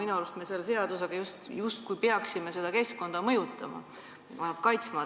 Minu arust me selle seadusega justkui peaksime keskkonda mõjutama, teda kaitsma.